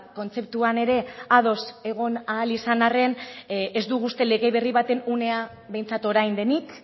kontzeptuan ere ados egon ahal izan arren ez dugu uste lege berri baten unea behintzat orain denik